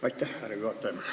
Aitäh, härra juhataja!